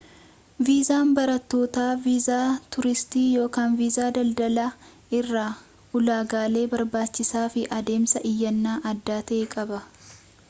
viizaan barattootaa viizaa tuuristii ykn viisaa daldalaa irraa ulaagaalee barbaachisanii fi adeemsa iyyannaa adda ta'ee qaba